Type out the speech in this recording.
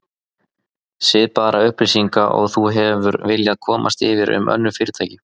Svipaðra upplýsinga og þú hefur viljað komast yfir um önnur fyrirtæki